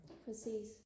præcis